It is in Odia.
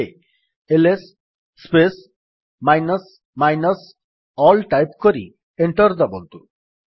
ଏବେ IS space minus minus all type କରି ଏଣ୍ଟର୍ ଦାବନ୍ତୁ